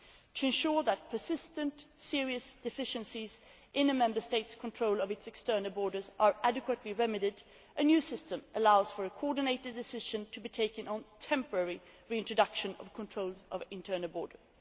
To ensure that persistent, serious deficiencies in a Member State's control of its external borders are adequately remedied, a new system allows for a coordinated decision to be taken on the temporary reintroduction of controls at internal borders.